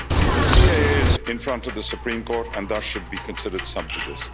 The CAA is in front of the Supreme Court and thus should be considered sub judice